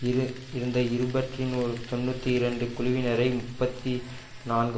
இரு இருந்த இருபற்றிநூறு தொன்னூத்திரெண்டு குழுவினரை முப்பத்தி நான்கு